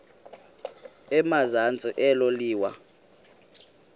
emazantsi elo liwa